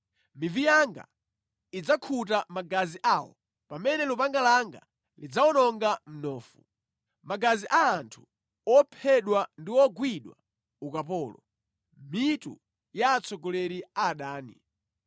Mivi yanga idzakhuta magazi awo pamene lupanga langa lidzawononga mnofu: magazi a anthu ophedwa ndi ogwidwa ukapolo, mitu ya atsogoleri a adani.’ ”